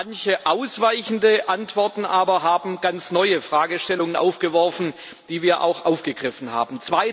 Manche ausweichende Antworten aber haben ganz neue Fragestellungen aufgeworfen, die wir auch aufgegriffen haben.